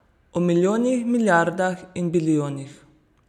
O milijonih, milijardah in bilijonih.